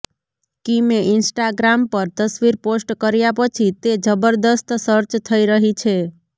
કિમે Instagram પર તસવીર post કર્યા પછી તે જબરજસ્ત સર્ચ થઈ રહી છે